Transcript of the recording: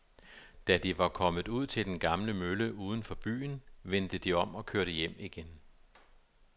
Da de var kommet ud til den gamle mølle uden for byen, vendte de om og kørte hjem igen.